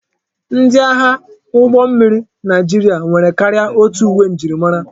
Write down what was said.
Ndi agha ụgbọ mmiri Naijiria nwere karịa otu uwe njirimara,